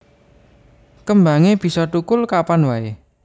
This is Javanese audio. Kembangé bisa thukul kapan waé